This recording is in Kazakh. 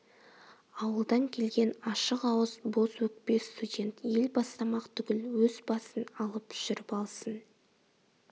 ауылдан келген ашық ауыз боз өкпе студент ел бастамақ түгіл өз басын алып жүріп алсын